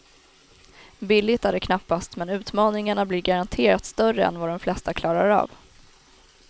Billigt är det knappast, men utmaningarna blir garanterat större än vad de flesta klarar av.